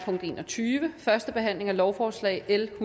forhandlingen at lovforslaget